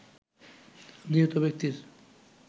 নিহত ব্যক্তির